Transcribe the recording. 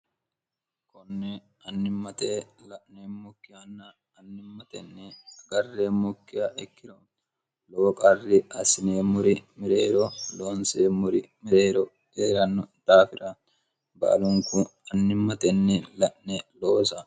konne annimmate la'nemmukkiaanna annimmtnni garremmukkia ikkiro lowo qarri assineemmuri mireero loonseemmuri mireero eeranno daafira baalunku annimmatenni la'ne loosa